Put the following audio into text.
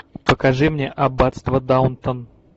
покажи мне аббатство даунтон